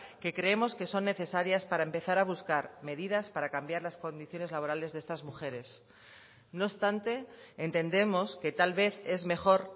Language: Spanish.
que creemos que son necesarias para empezar a buscar medidas para cambiar las condiciones laborales de estas mujeres no obstante entendemos que tal vez es mejor